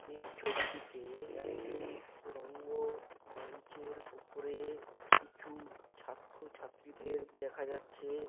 এই ছবিটিতে একটি রঙ্গ মঞ্চের উপরে কিছু ছাত্র ছাত্রীদের দেখা যাচ্ছে।